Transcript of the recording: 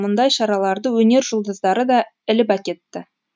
мұндай шараларды өнер жұлдыздары да іліп әкетті